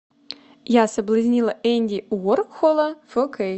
я соблазнила энди уорхола фо кей